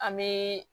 An bɛ